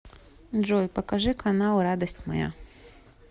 джой покажи канал радость моя